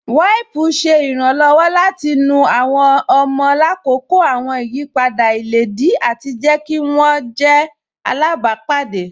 Wípùú ṣẹ̀ ìrànlọ́wọ̀ láti nú àwọn ọ̀mọ̀ làkọ́kọ́ àwọn ìyìpadà ilẹ̀díì ati jẹ̀ kí wọn jẹ̀ àlábàpádé.